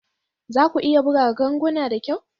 Za ku iya buga ganguna da kyau?